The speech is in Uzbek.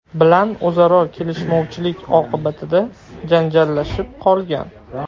bilan o‘zaro kelishmovchilik oqibatida janjallashib qolgan.